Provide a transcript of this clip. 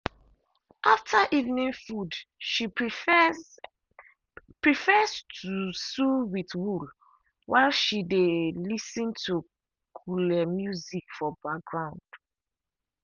after evening food she prefers prefers to sue with wool while she dry lis ten to cule music for background.